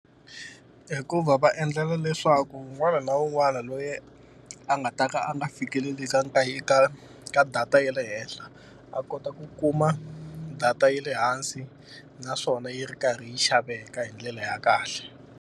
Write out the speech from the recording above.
Hikuva va endlela leswaku un'wana na un'wana loyi a nga ta ka a nga fikeleli ka ka ka data ya le henhla, a kota ku kuma data ye le hansi naswona yi ri karhi yi xaveka hi ndlela ya kahle.